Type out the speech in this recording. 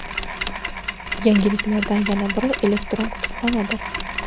Yangiliklardan yana biri – elektron kutubxonadir.